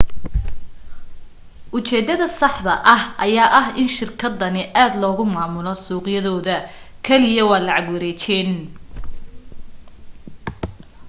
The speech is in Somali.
u jeedada saxda ah ayaa ah in shirkadani aad loogu maamulo suuqyadooda kaliya waa lacag wareejin